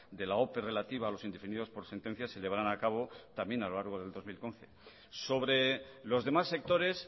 de la ope relativa a los indefinidos por sentencia se llevarán acabo también a lo largo del dos mil quince sobre los demás sectores